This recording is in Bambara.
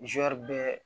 bɛɛ